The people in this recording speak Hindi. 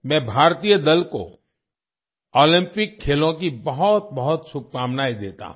मैं भारतीय दल को ओलंपिक खेलों की बहुत बहुत शुभकामनाएं देता हूँ